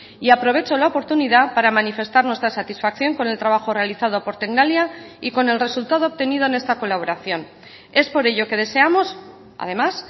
y aprovecho la oportunidad para manifestar nuestra satisfacción con el trabajo realizado por tecnalia y con el resultado obtenido en esta colaboración es por ello que deseamos además